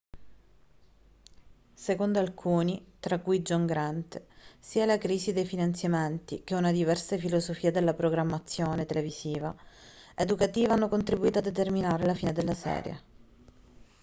secondo alcuni tra cui john grant sia la crisi dei finanziamenti che una diversa filosofia della programmazione televisiva educativa hanno contribuito a determinare la fine della serie